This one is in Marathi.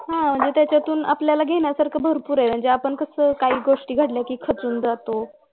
अह त्याच्यातुन आपल्याला घेण्यासारखं भरपूर आहे म्हणजे काही गोष्टी घडल्या कि खचून जातो